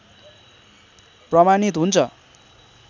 प्रमाणित हुन्छ